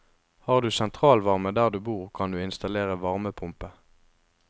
Har du sentralvarme der du bor, kan du installere varmepumpe.